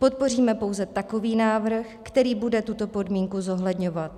Podpoříme pouze takový návrh, který bude tuto podmínku zohledňovat.